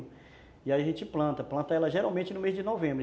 E aí a gente planta, planta ela geralmente no mês de novembro.